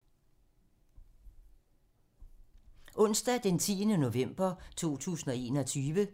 Onsdag d. 10. november 2021